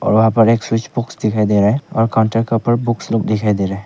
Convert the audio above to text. वहां पर एक स्विच बॉक्स दिखाई दे रहा है और काउंटर के ऊपर बुक्स लोग दिखाई दे रहे हैं।